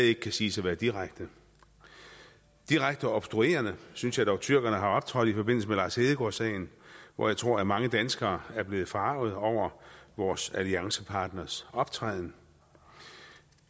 ikke kan siges at være direkte direkte obstruerende synes jeg dog tyrkerne har optrådt i forbindelse med lars hedegaard sagen og jeg tror at mange danskere er blevet forargede over vores alliancepartners optræden